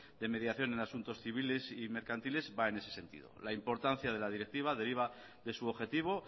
de mediación en asuntos civiles y mercantiles van en ese sentido la importancia de la directiva deriva de su objetivo